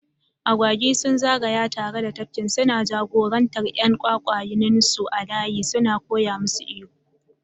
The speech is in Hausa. Agwagi sun zagaya tare da tafkin, suna jagorantar ƴan gwangwaninsu a layi suna koya musu iyo.